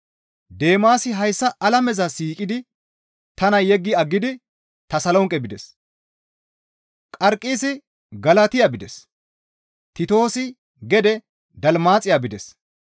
Deemaasi hayssa alameza siiqidi tana yeggi aggidi Tasolonqe bides. Qarqisi Galatiya bides; Titoosi gede Dalmaaxiya bides.